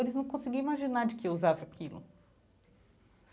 Eles não conseguiam imaginar de que eu usava aquilo.